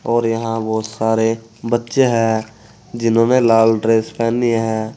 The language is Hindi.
और यहां बहुत सारे बच्चे हैं जिन्होंने लाल ड्रेस पहनी है।